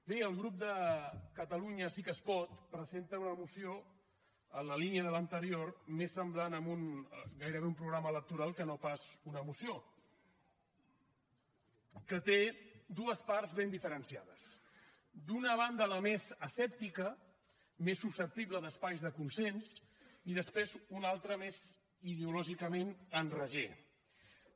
bé el grup de catalunya sí que es pot presenta una moció en la línia de l’anterior més semblant a un gairebé programa electoral que no pas a una moció que té dues parts ben diferenciades d’una banda la més asèptica més susceptible d’espais de consens i després una altra més ideològicament enragée